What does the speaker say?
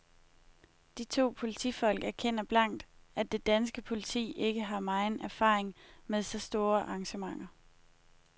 De to politifolk erkender blankt, at det danske politi ikke har megen erfaring med så store arrangementer.